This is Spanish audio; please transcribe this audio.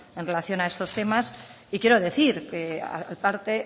en relación a estos temas y quiero decir parte